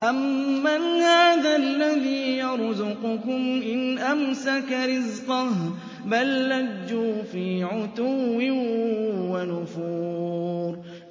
أَمَّنْ هَٰذَا الَّذِي يَرْزُقُكُمْ إِنْ أَمْسَكَ رِزْقَهُ ۚ بَل لَّجُّوا فِي عُتُوٍّ وَنُفُورٍ